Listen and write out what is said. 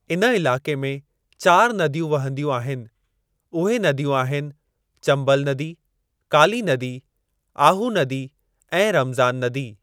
इन इलाक़े में चार नदियूं वहंदियूं आहिनि, उहे नदियूं आहिनि, चंबल नदी, काली नदी, आहू नदी ऐं रमज़ान नदी।